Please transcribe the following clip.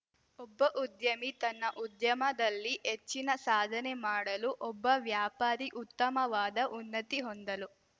ಒಬ್ಬ ಉದ್ಯಮಿ ತನ್ನ ಉದ್ಯಮದಲ್ಲಿ ಹೆಚ್ಚಿನ ಸಾಧನೆ ಮಾಡಲು ಒಬ್ಬ ವ್ಯಾಪಾರಿ ಉತ್ತಮವಾದ ಉನ್ನತಿ ಹೊಂದಲು